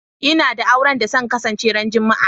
N'na da auren da zan kasance ran Juma'a.